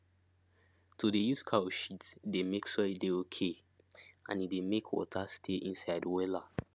to dey use cow shit dey make soil dey okay and e dey make water stay inside am wella